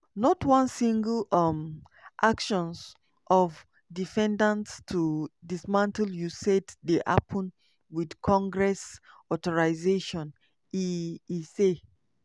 "not one single um actions of defendants to dismantle usaid dey happun wit congress authorization" e e say.